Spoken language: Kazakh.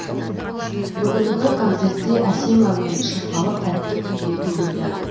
бүгінгі концертте әсем әуен шырқалып тәтті күй де төгілді